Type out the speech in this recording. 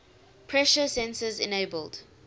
pressure sensors enabled